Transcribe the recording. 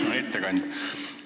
Hea ettekandja!